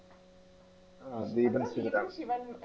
ആ ദീപക് ശിവറാം.